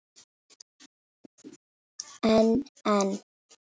En en.